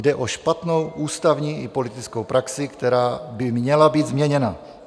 Jde o špatnou ústavní i politickou praxi, která by měla být změněna.